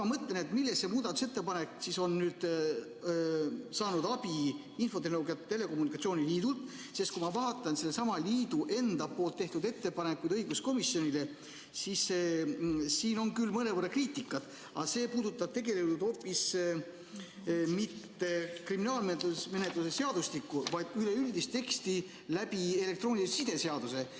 Ma mõtlen, et millega Eesti Infotehnoloogia ja Telekommunikatsiooni Liit aitas teha seda muudatusettepanekut, sest kui ma vaatan sellesama liidu enda tehtud ettepanekuid õiguskomisjonile, siis siin on küll mõnevõrra kriitikat, aga see ei puuduta hoopis mitte kriminaalmenetluse seadustikku, vaid üleüldist teksti elektroonilise side seaduses.